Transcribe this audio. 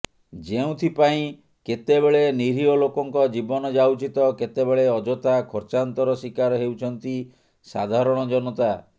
ଯେଉଁଥିପାଇଁ କେତେବେଳେ ନିରିହ ଲୋକଙ୍କ ଜୀବନ ଯାଉଛି ତ କେତେବେଳେ ଅଜଥା ଖର୍ଚ୍ଚାନ୍ତର ଶିକାର ହେଉଛନ୍ତି ସାଧାରଣ ଜନତା